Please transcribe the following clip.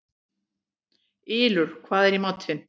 Ylur, hvað er í matinn?